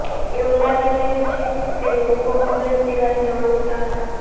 એવું લાગી રહ્યું છે તે લોકો કમલેશ તિવારીને ઓળખતા હતા